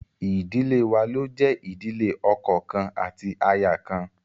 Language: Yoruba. Idile wa lo jẹ ìdílé ọkọ kan ati aya kan